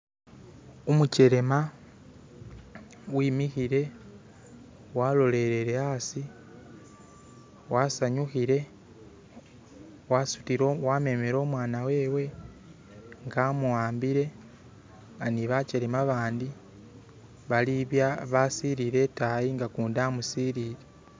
umukyelema wimihile walolelere asi wasanyuhile wamemele umwana wewe nga amuwambile nga nibakyelema babandi basilile itayi nag kundi amusilile